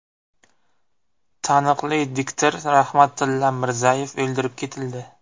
Taniqli diktor Rahmatilla Mirzayev o‘ldirib ketildi.